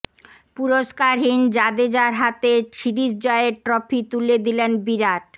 পুরস্কারহীন জাডেজার হাতে সিরিজ জয়ের ট্রফি তুলে দিলেন বিরাট